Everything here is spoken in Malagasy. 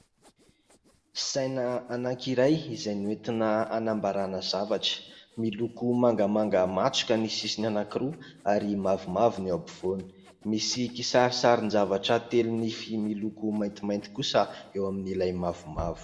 Saina anankiray izay nentina hanambarana zavatra. Miloko mangamanga matroka ny sisiny anankiroa ary mavomavo ny eo ampovoany. Misy kisarisarin-javatra telo nify miloko maintimainty kosa eo amin'ilay mavomavo.